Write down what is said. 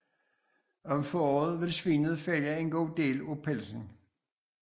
Om foråret vil svinet fælde en god del af pelsen